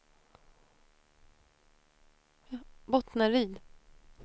Bottnaryd